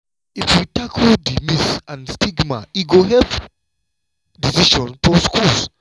if we tackle di myths and stigma e go help decision for schools.